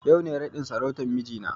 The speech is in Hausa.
Yau ne raɗin sarautan mijina na